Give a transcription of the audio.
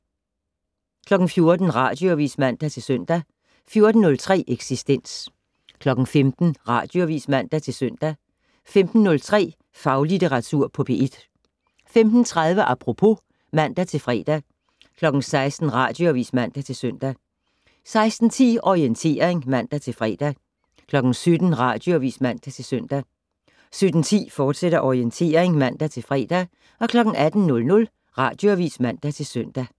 14:00: Radioavis (man-søn) 14:03: Eksistens 15:00: Radioavis (man-søn) 15:03: Faglitteratur på P1 15:30: Apropos (man-fre) 16:00: Radioavis (man-søn) 16:10: Orientering (man-fre) 17:00: Radioavis (man-søn) 17:10: Orientering, fortsat (man-fre) 18:00: Radioavis (man-søn)